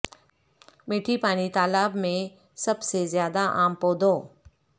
میٹھی پانی تالاب میں سب سے زیادہ عام پودوں